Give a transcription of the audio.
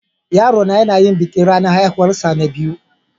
Yaro na yana yin bikin ranan haihuwan sa na biyu.